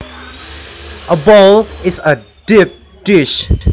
A bowl is a deep dish